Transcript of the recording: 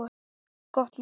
Gott mál.